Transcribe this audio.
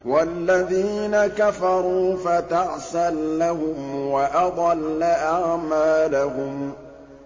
وَالَّذِينَ كَفَرُوا فَتَعْسًا لَّهُمْ وَأَضَلَّ أَعْمَالَهُمْ